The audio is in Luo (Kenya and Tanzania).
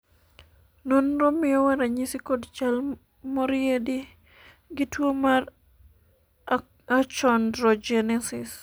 nonro miyowa ranyisi kod chal moriedi gi ne tuo mar Achondrogenesis